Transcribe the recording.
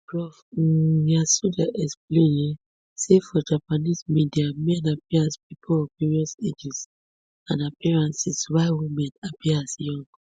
prof um yasuda explain um say for japanese media men appear as pipo of various ages and appearances while women appear as young